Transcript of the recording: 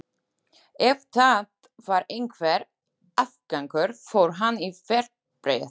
Ef það var einhver afgangur fór hann í verðbréf.